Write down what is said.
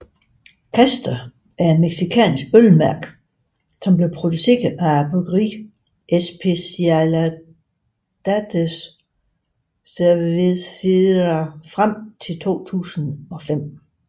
Casta er et mexikansk ølmærke som blev produceret af bryggeriet Especialidades Cervecera frem til 2005